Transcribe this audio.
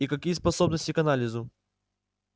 и какие способности к анализу